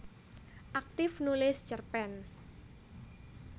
Aktif nulis cerpen